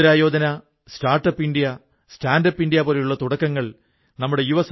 അദ്ദേഹം തന്റെ പൂർവ്വികസമ്പത്തായ ഭൂമി വിറ്റു ആപ്പിൾ വയ്ക്കാനുള്ള തടി പെട്ടി ഉണ്ടാക്കുന്ന യൂണിറ്റ് ആരംഭിച്ചു